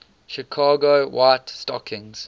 chicago white stockings